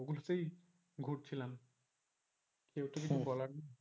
ওগুলোতেই ঘুরছিলাম কেউ কিছু বলার নেই